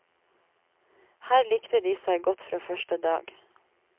Her likte de seg godt fra første dag.